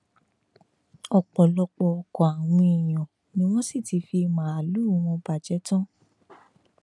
ọpọlọpọ ọkọ àwọn èèyàn ni wọn sì ti fi màálùú wọn bàjẹ tán